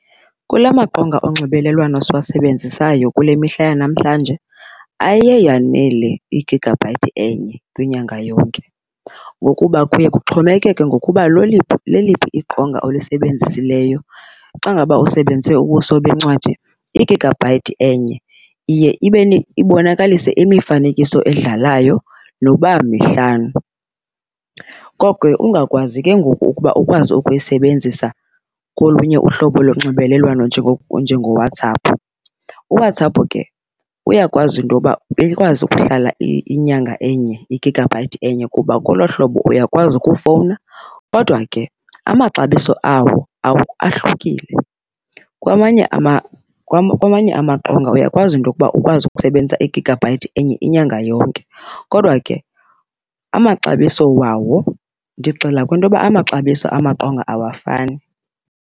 Kula maqonga onxibelelwano siwasebenzisayo kule mihla yamahlanje aye yanele i-gigabyte enye kwinyanga yonke ngokuba kuye kuxhomekeke ngokuba leliphi iqonga olisebenzisileyo. Xa ngaba usebenzise ubuso bencwadi, i-gigabyte enye iye ibonakalise imifanekiso edlalayo noba mihlanu koko ungakwazi ke ngoku ukuba ukwazi ukuyisebenzisa kolunye uhlobo lonxibelelwano njengoWhatsApp. UWhatsApp ke uyakwazi into yoba ikwazi ukuhlala inyanga enye i-gigabyte enye kuba kolo hlobo uyakwazi ukufowuna, kodwa ke amaxabiso awo ahlukile. Kwamanye amaqonga uyakwazi into okuba ukwazi ukusebenzisa i-gigabyte enye inyanga yonke kodwa ke amaxabiso wawo, ndigxila kwinto yoba amaxabiso amaqonga awafani.